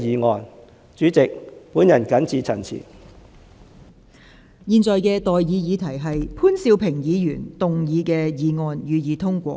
我現在向各位提出的待議議題是：潘兆平議員動議的議案，予以通過。